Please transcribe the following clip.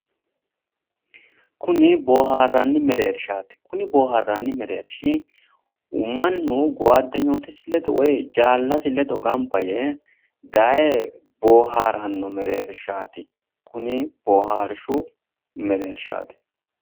Kuni booharranni mereershaati. Kuni boohaarranni mereershi mannu goyaddenyootisi ledo woyi jaallasi ledo gamba yee daye boohaaranno mereershaati. Kuni boohaarshu mereershaati.